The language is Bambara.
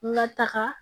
Lataga